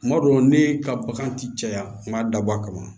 Kuma dɔw ne ka bagan ti caya nga dabɔ a kama